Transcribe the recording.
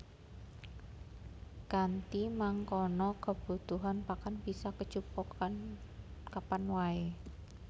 Kanthi mangkono kabutuhan pakan bisa kecukupan kapan waé